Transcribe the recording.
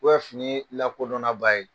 fini lakodɔnnaba ye.